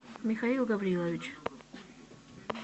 михаил гаврилович